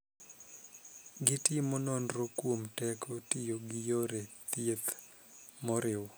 Gitimo nonro kuom teko tiyo gi yore thieth moriw.